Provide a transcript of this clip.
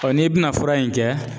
n'i bi na fura in kɛ